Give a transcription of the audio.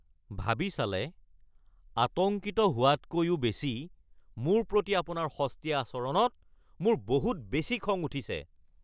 ভাবি চালে, আতংকিত হোৱাতকৈও বেছি, মোৰ প্ৰতি আপোনাৰ সস্তীয়া আচৰণত মোৰ বহুত বেছি খং উঠিছে।